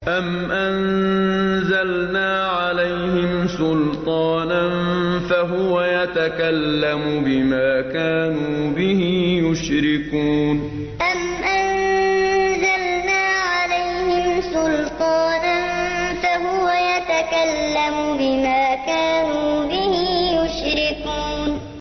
أَمْ أَنزَلْنَا عَلَيْهِمْ سُلْطَانًا فَهُوَ يَتَكَلَّمُ بِمَا كَانُوا بِهِ يُشْرِكُونَ أَمْ أَنزَلْنَا عَلَيْهِمْ سُلْطَانًا فَهُوَ يَتَكَلَّمُ بِمَا كَانُوا بِهِ يُشْرِكُونَ